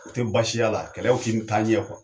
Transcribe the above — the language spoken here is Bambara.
O te baasiy'ala kɛlɛw ti n taa ɲɛ kuwa